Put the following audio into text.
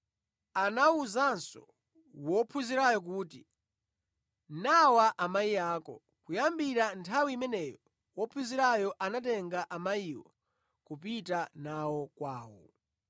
Anawuzanso wophunzirayo kuti, “Nawa amayi ako.” Kuyambira nthawi imeneyo, wophunzirayo anatenga amayiwo kupita nawo kwawo.